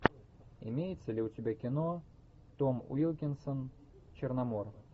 имеется ли у тебя кино том уилкинсон черномор